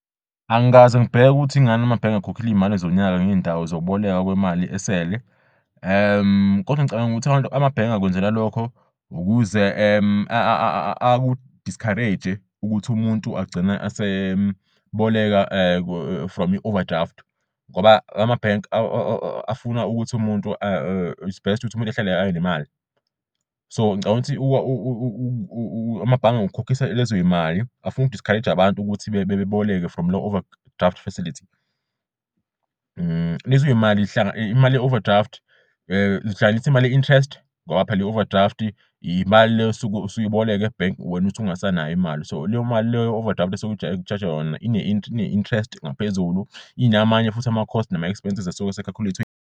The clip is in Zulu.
Angikaze ngibheke ukuthi ingan'amabhenge ekhokhile izimali zonyaka ngey'ndawo zokubolekwa kwemali esele. Kodwa ngicabanga ukuthi amanye amabhenge akwenzela lokho ukuze aku-discourage-e ukuthi umuntu agcine eseboleka from i-overdraft. Ngoba amabhenki afuna ukuthi umuntu is best ukuthi umuntu ahlale abe nemali. So ngicabang'ukuthi amabhange ngokukhokhisa lezoy'mali afuna uku-discourage-a abantu ukuthi beboleke from le-overdraft facility . Imali ye-overdraft zihlanganis'imali ye-interest ngoba phela i-overdraft imali le osuke usuyiboleke ebhenki wena ukuthi ungasanayo imali so leyo mali leyo overdraft suku-charge-jwa yona ine-interest ngaphezulu inamanye futhi ama-cost nama-expenses asuke ese-calculate-we ngaphezulu.